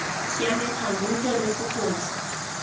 siame thando nte re fokotse